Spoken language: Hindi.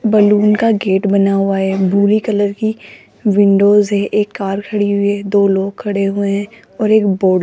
बैलून का गेट बना हुआ है भूरे कलर की विंडोज है एक कार खड़ी हुई है दो लोग खड़े हुए हैं और एक बोर्ड --